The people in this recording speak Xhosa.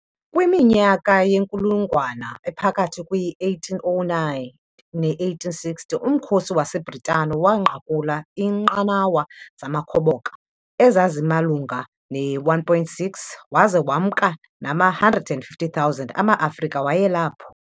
Kwiminyaka yenkulungwana ephakathi kwe- 1809 ne-1860, Umkhosi waseBritane waanqakula iinqanawa zamakhoboka ezazimalunga ne-1,600 waza wemka nama-150,000 amaAfrika wayelapho.